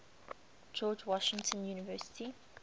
george washington university